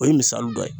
O ye misali dɔ ye